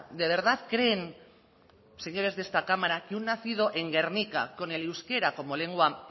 de verdad creen señores de esta cámara que un nacido en gernika con el euskera como lengua